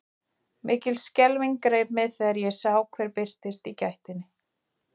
Mikil skelfing greip mig þegar ég sá hver birtist í gættinni.